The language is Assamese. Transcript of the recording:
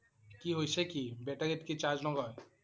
কি হৈছে কি? battery ত কি charge নলয়?